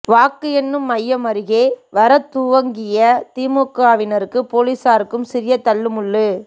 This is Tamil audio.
வாக்கு என்னும் மையம் அருகே வரத் துவங்கிய திமுகவினருக்கு போலீசாருக்கும் சிறிய தள்ளு முள்ளு